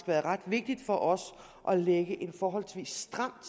været ret vigtigt for os at lægge en forholdsvis stram